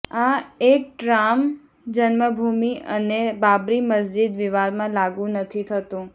આ એક્ટ રામ જન્મભૂમિ અને બાબરી મસ્જિદ વિવાદમાં લાગુ નથી થતું